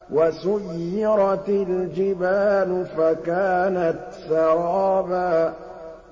وَسُيِّرَتِ الْجِبَالُ فَكَانَتْ سَرَابًا